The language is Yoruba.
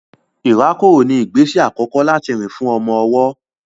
Ìrákòrò ní ìgbésẹ àkọkọ́ láti rìn fún àwọn ọmọ-ọwọ́